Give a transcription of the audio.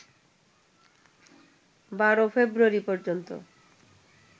১২ February পর্যন্ত